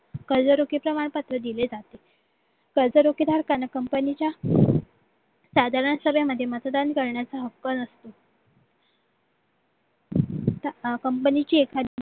कर्जरोखे प्रमाणपत्र दिले जाते कर्जरोखे धारकांना company च्या साधारण सभेमध्ये मतदान करण्याचा हक्क company च्या एखादी